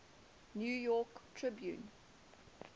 new york tribune